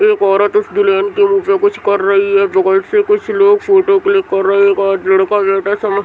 एक औरत उस दुल्हन के मुँह पर कुछ कर रही है। कुछ लोग फोटो क्लिक कर रहे है। सब --